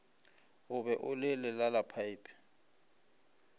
o be o le lelalaphaephe